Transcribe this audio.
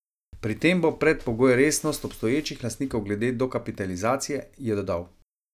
Pri tem bo predpogoj resnost obstoječih lastnikov glede dokapitalizacije, je dodal.